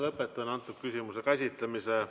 Lõpetan selle küsimuse käsitlemise.